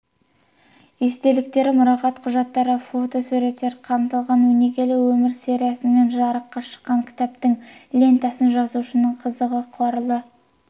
естеліктері мұрағат құжаттары фотосуреттер қамтылған өнегелі өмір сериясымен жарыққа шыққан кітаптың лентасын жазушының қызы қарлыға